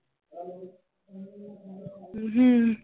ਹਮ